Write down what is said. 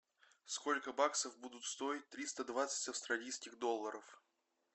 сколько баксов будут стоить триста двадцать австралийских долларов